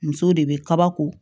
Musow de bɛ kabako